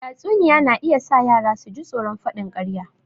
Tatsuniya na iya sa yara su ji tsoron faɗin ƙarya